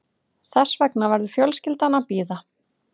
Þess vegna verður fjölskyldan að bíða